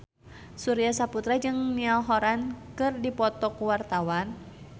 Surya Saputra jeung Niall Horran keur dipoto ku wartawan